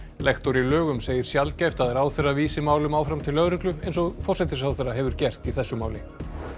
lektor í lögum segir sjaldgæft að ráðherra vísi málum áfram til lögreglu eins og forsætisráðherra hefur gert í þessu máli